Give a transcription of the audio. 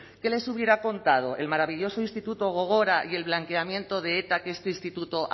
qué les hubiera contado el maravilloso instituto gogora y el blanqueamiento de eta que este instituto